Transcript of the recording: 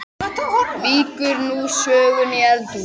Víkur nú sögunni í eldhús.